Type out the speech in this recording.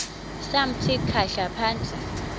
samthi khahla phantsi